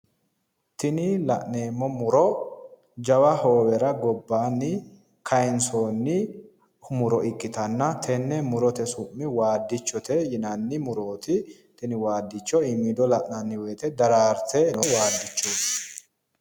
Tini la'neemmi muro jawa hoowera gobbaanni kayinsoonni muro ikkitanna tenne murite su'mi waaddichote yinanni murooti. tini waaddicho iimiido la'nanni woyite daraarte no waaddichooti.